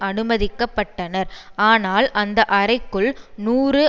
அனுமதிக்க பட்டனர் ஆனால் அந்த அறைக்குள் நூறு